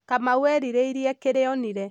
kamau erirĩĩrie kĩrĩa onire